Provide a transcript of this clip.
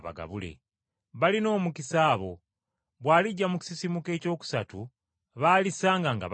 Balina omukisa abo, bw’alijja mu kisisimuka ekyokusatu, baalisanga nga batunula.